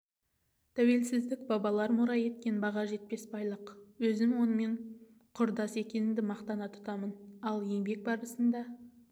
тәуелсіздік бабалар мұра еткен баға жетпес байлық өзім онымен құрдас екенімді мақтан тұтамын ал еңбек барысында